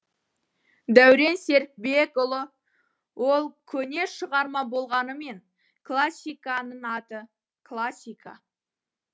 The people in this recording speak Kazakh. дәурен серікбекұлы ол көне шығарма болғанымен классиканың аты классика